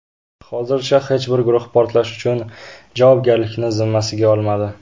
Hozircha hech bir guruh portlash uchun javobgarlikni zimmasiga olmadi.